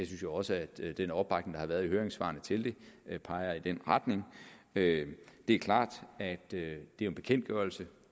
synes jo også at den opbakning der har været i høringssvarene til det peger i den retning det er klart at det jo er en bekendtgørelse